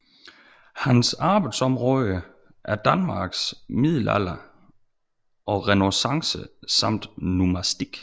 Hans arbejdsområder er Danmarks middelalder og renæssance samt numismatik